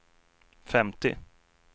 femtio